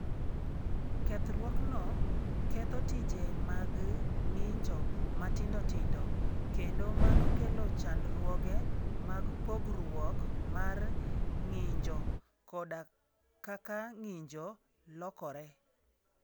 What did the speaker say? Kethruokno ketho tije mag ng'injo matindo tindo, kendo mano kelo chandruoge mag pogruok mar ng'injo koda kaka ng'injo lokore.